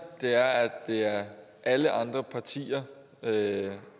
er at det er alle andre partier